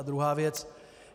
A druhá věc.